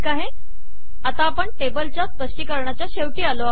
आता आपण टेबलच्या स्पष्टीकरणाच्या शेवटी आलो आहोत